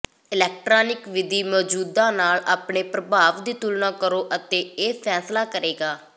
electronic ਵਿਧੀ ਮੌਜੂਦਾ ਨਾਲ ਆਪਣੇ ਪ੍ਰਭਾਵ ਦੀ ਤੁਲਨਾ ਕਰੋ ਅਤੇ ਇਹ ਫੈਸਲਾ ਕਰੇਗਾ